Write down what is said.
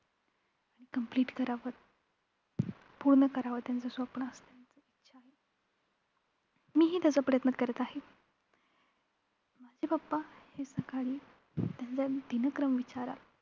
आणि complete करावंच. पूर्ण करावं त्यांचं स्वप्न मीही त्याचा प्रयत्न करत आहे. माझे papa हे सकाळी त्यांचा दिनक्रम विचाराल